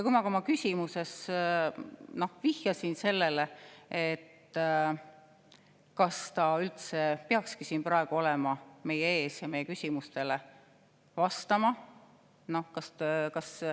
Ma ka oma küsimuses vihjasin sellele, kas ta üldse peakski praegu olema siin meie ees ja meie küsimustele vastama.